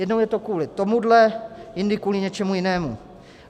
Jednou je to kvůli tomuhle, jindy kvůli něčemu jinému.